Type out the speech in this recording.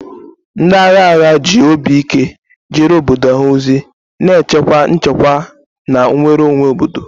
Ndị agha agha ji obi ike jeere obodo ha ozi, na-echekwa nchekwa na nnwere onwe obodo.